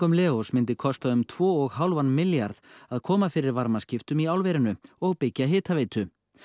Leós myndi kosta um tvo og hálfan milljarð að koma fyrir varmaskiptum í álverinu og byggja hitaveitu